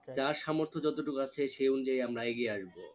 যার সামর্থ যত টুকু আছে সে অনুযায়ী আমরা এগিয়ে আসবো